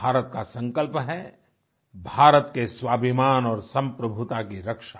भारत का संकल्प है भारत के स्वाभिमान और संप्रभुता की रक्षा